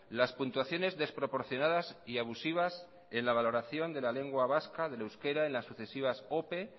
las puntuaciones desproporcionadas y abusivas en la valoración de la lengua vasca del euskera en la sucesivas ope